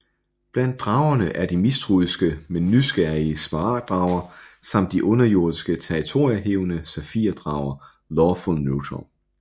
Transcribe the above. Blandt dragerne er de mistroiske men nysgerrige smaragd drager samt de underjordiske territoriehævdende safir drager Lawful Neutral